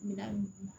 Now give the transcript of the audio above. Minan